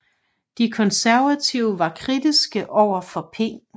De Konservative var kritiske overfor P